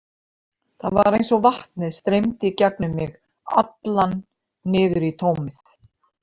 Það var eins og vatnið streymdi gegnum mig allan niður í tómið.